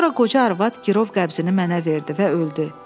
Sonra qoca arvad girov qəbzini mənə verdi və öldü.